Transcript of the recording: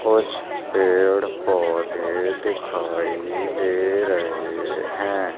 कुछ पेड़ पौधे दिखाई दे रहे हैं।